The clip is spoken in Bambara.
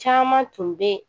Caman tun bɛ yen